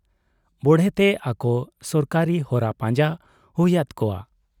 ᱵᱚᱲᱦᱮᱛᱮ ᱟᱠᱚ ᱥᱚᱨᱠᱟᱨᱤ ᱦᱚᱨᱟ ᱯᱟᱸᱡᱟ ᱦᱩᱭᱟᱫ ᱠᱚᱣᱟ ᱾